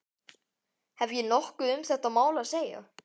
Hef ég nokkuð um þetta mál að segja?